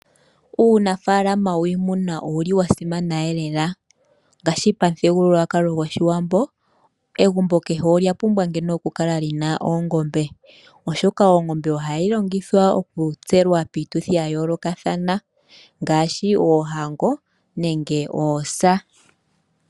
Uunafala wiimuna owuli wasimana lela ngaashi pamuthigululwakalo hwoshiwambo egumbo kehe olya pumbwa oku kala lina oongombe oshoka oongombe ohadhi longithwa okutsela piituthi yayooloka ngaashi poohango nenge poosa.